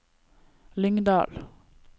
Lyngdal